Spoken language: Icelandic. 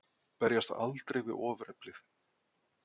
Berjast aldrei við ofureflið.